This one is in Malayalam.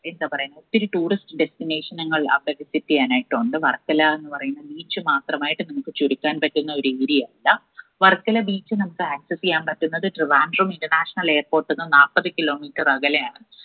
എന്താ പറയാ ഒത്തിരി tourist destination ങ്ങൾ അവിടെ visit ചെയ്യാനായിട്ടുണ്ട് വർക്കല എന്ന് പറയുന്ന beach മാത്രമായിട്ട് നമ്മുക്ക് ചുരുക്കാൻ പറ്റുന്ന ഒരു area അല്ല. വർക്കല beach നമ്മുക്ക് access എയ്യാൻ പറ്റുന്നത് trivandrum international airport ന്ന്‌ നാപ്പത് kilo metre അകലെയാണ്